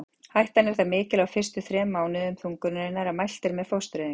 Hættan er það mikil á fyrstu þrem mánuðum þungunarinnar að mælt er með fóstureyðingu.